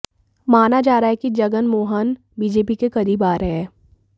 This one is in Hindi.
माना जा रहा है कि जगनमोहन बीजेपी के करीब आ रहे हैं